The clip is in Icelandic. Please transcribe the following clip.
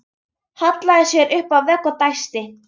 Hallaði sér upp að vegg og dæsti.